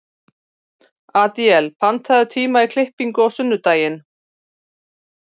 Adíel, pantaðu tíma í klippingu á sunnudaginn.